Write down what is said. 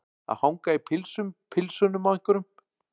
Að hanga í pilsum pilsunum á einhverjum